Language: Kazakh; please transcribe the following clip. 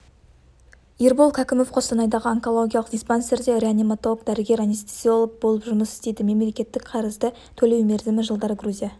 ербол кәкімов қостанайдағы онкологиялық диспансерде реаниматолог-дәрігер анестезиолог болып жұмыс істейді мемлекеттік қарызды төлеу мерзімі жылдар грузия